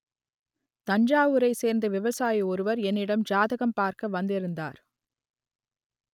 தஞ்சாவூரை சேர்ந்த விவசாயி ஒருவர் என்னிடம் ஜாதகம் பார்க்க வந்திருந்தார்